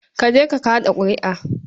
Ka je ka kaɗa ƙuri'a.